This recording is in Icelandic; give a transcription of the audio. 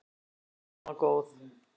Já hún var góð.